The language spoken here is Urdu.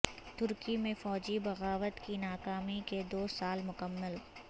ترکی میں فوجی بغاوت کی ناکامی کے دو سال مکمل